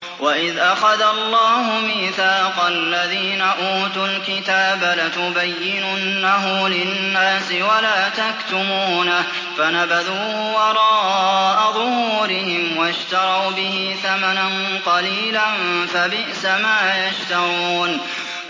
وَإِذْ أَخَذَ اللَّهُ مِيثَاقَ الَّذِينَ أُوتُوا الْكِتَابَ لَتُبَيِّنُنَّهُ لِلنَّاسِ وَلَا تَكْتُمُونَهُ فَنَبَذُوهُ وَرَاءَ ظُهُورِهِمْ وَاشْتَرَوْا بِهِ ثَمَنًا قَلِيلًا ۖ فَبِئْسَ مَا يَشْتَرُونَ